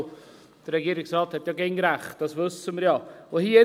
Und der Regierungsrat hat immer recht, das wissen wir ja.